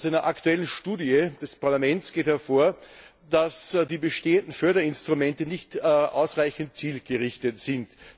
Aus einer aktuellen Studie des Parlaments geht hervor, dass die bestehenden Förderinstrumente nicht ausreichend zielgerichtet sind.